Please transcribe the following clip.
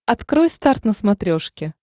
открой старт на смотрешке